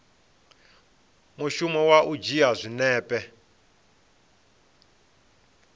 mushumo wa u dzhia zwinepe